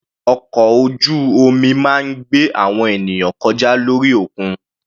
Ọkọ̀ ojú omi máa ń gbé àwọn ènìyàn kọjá lórí òkun.